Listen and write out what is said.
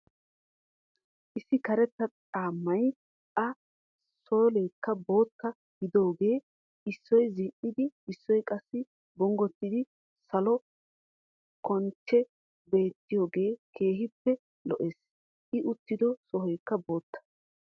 Issi karetta caammay a sooleekka bootta giididoogee issoy zin"iin issoy qassi bonggottidi soole kanchchee beettiyoogee keehippe lo"ees. i uttido sohoykka bootta.